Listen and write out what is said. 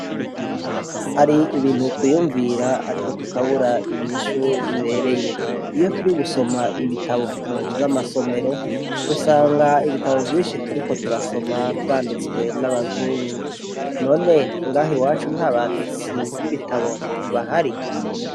Hari ibintu twiyumvira mugabo tukabubura inyishu ibereye, iyo turi gusoma ibitabo munzu zamasomero dusanga ibitabu vyinshi turiko turasoma vyanditswe n'abazungu, none ngaha iwacu ntabanditsi b'ibitabo bahari.